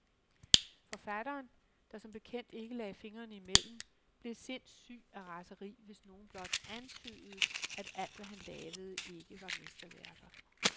Forfatteren, der som bekendt ikke lagde fingrene imellem, blev sindssyg af raseri, hvis nogen blot antydede, at alt, hvad han lavede, ikke var mesterværker.